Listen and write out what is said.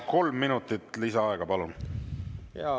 Kolm minutit lisaaega, palun!